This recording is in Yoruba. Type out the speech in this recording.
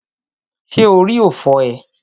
Ṣé orí ò fọ́ ee?